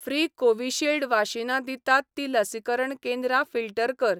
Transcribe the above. Free Covishield वाशीनां दितात तीं लसीकरण केंद्रां फिल्टर कर.